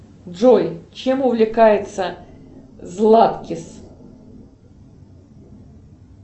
джой чем увлекается златкис